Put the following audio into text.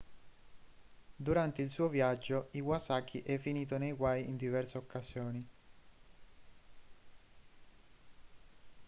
durante il suo viaggio iwasaki è finito nei guai in diverse occasioni